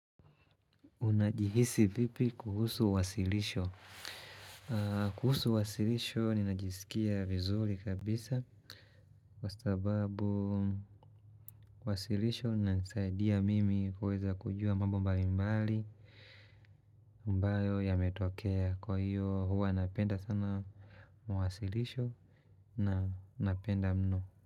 Unajihisi vipi kuhusu wasilisho? Kuhusu wasilisho, ninajisikia vizuri kabisa. Kwa sababu, kuhusu wasilisho, nisaidia mimi kuweza kujua mambo mbali mbali ambayo ya metokea. Kwa hiyo, huwa napenda sana mawasilisho na napenda mno.